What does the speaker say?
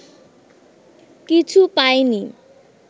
কিছু পায়নি